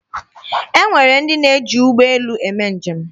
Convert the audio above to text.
E nwere ndị na-eji ụgbọ elu eme njem.